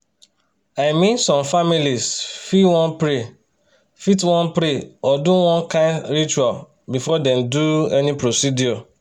"i mean some families fit wan pray fit wan pray or do one kind ritual before dem do any procedure